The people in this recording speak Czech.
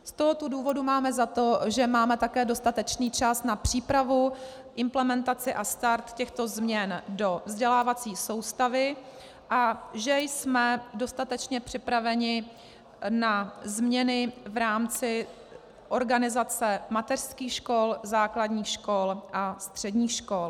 Z tohoto důvodu máme za to, že máme také dostatečný čas na přípravu, implementaci a start těchto změn do vzdělávací soustavy a že jsme dostatečně připraveni na změny v rámci organizace mateřských škol, základních škol a středních škol.